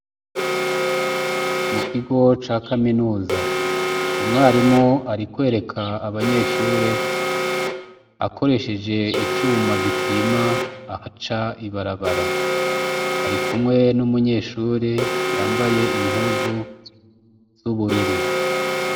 Mu kigo ca kaminuza umwarimu ari kwereka abanyeshure akoresheje icuma gipima aha ca ibarabara ari kumwe n'umunyeshure yambaye impuzu z'ubururu.